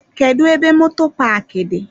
Kedụ ebe moto paaki dị?